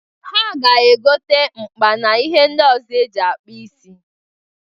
Ha ga-egota mkpa n'ihe ndị ọzọ e ji akpụ isi.